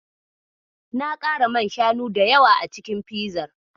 Na ƙara man shanu da yawa a cikin fizar.